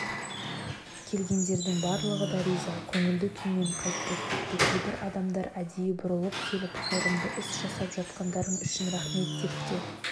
келгендердің барлығы да риза көңілді күймен қайтты тіпті кейбір адамдар әдейі бұрылып келіп қайырымды іс жасап жатқандарың үшін рахмет деп те